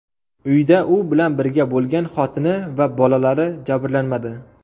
Uyda u bilan birga bo‘lgan xotini va bolalari jabrlanmadi.